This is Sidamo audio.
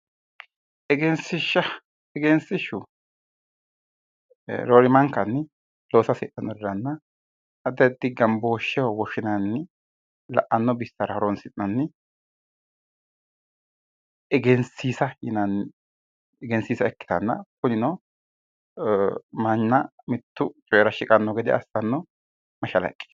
Egensiishsha egensiishshu roorimankanni looso hasidhannoriranna addi addi gambooshsheho woshshinanni la'anno bissara horonsi'nanni egensiisa yinanni egensiisa ikkitanna kunino mannaa mittu coyeera shiqanno gede assanno mashalaqqe